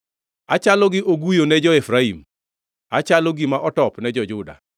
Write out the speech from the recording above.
Achalo gi oguyo ne jo-Efraim, achalo gima otop ne jo-Juda.